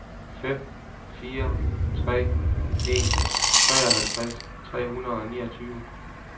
fem fire tre en treoghalvtreds tre hundrede og niogtyve